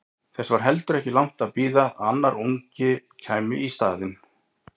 Þess var heldur ekki langt að bíða að annar ungi kæmi í staðinn.